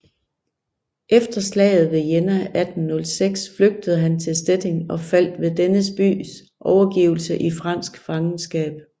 Efter slaget ved Jena 1806 flygtede han til Stettin og faldt ved denne bys overgivelse i fransk fangenskab